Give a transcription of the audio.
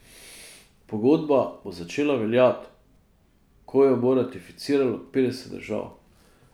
Pogodba bo začela veljati, ko jo bo ratificiralo petdeset držav.